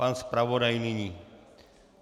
Pan zpravodaj nyní.